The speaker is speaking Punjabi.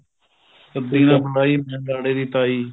ਸੱਦੀ ਨਾ ਸ਼ਦਾਈ ਮੈ ਲਾੜੇ ਦੀ ਤਾਈ